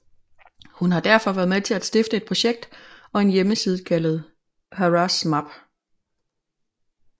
Hun har derfor været med til at stifte et projekt og en hjemmeside kaldet Harassmap